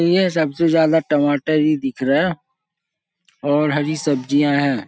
यह सबसे ज्यादा टमाटर ही दिख रहा है और हरी सब्जियां हैं।